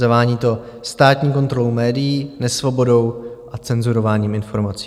Zavání to státní kontrolou médií, nesvobodou a cenzurováním informací.